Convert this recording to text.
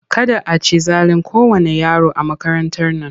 Kada a ci zalin kowanne yaro a makarantar nan!